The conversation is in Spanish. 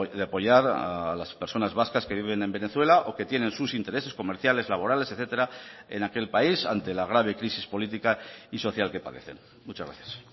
de apoyar a las personas vascas que viven en venezuela o que tienen sus intereses comerciales laborales etcétera en aquel país ante la grave crisis política y social que padecen muchas gracias